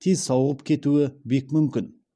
тез сауығып кетуі бек мүмкін